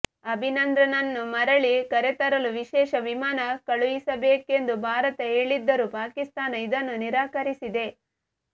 ಅಭಿನಂದನ್ರನ್ನು ಮರಳಿ ಕರೆತರಲು ವಿಶೇಷ ವಿಮಾನ ಕಳುಹಿಸಬೇಕೆಂದು ಭಾರತ ಹೇಳಿದ್ದರೂ ಪಾಕಿಸ್ತಾನ ಇದನ್ನು ನಿರಾಕರಿಸಿದೆ